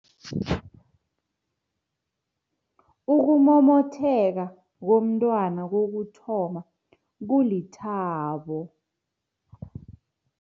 Ukumomotheka komntwana kokuthoma kulithabo.